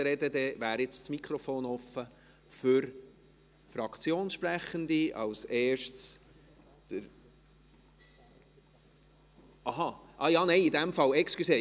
Dann wäre jetzt das Mikrofon offen für Fraktionssprechende, als Erstes … Aha, nein, Entschuldigung.